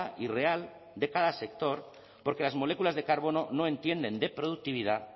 y real de cada sector porque las moléculas de carbono no entienden de productividad